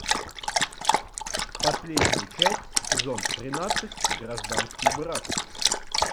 последняя часть сезон тринадцать гражданский брак